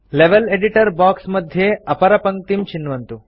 level editor box मध्ये अपरपङ्क्तिं चिन्वन्तु